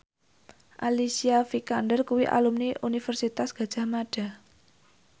Alicia Vikander kuwi alumni Universitas Gadjah Mada